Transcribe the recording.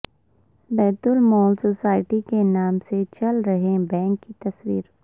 بیت المال سوسائٹی کے نام سے چل رہے بینک کی تصویر